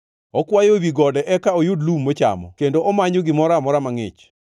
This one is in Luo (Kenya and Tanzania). Okwayo ewi gode eka oyud lum mochamo kendo omanyo gimoro amora mangʼich.